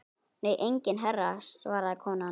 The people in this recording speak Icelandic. Nei enginn herra svaraði konan.